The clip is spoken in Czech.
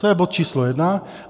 To je bod číslo jedna.